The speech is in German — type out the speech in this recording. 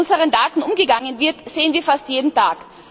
Und wie mit unseren Daten umgegangen wird, sehen wir fast jeden Tag.